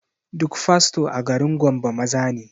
Duk fasto a garin gombe maza ne